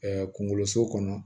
kungolo so kɔnɔ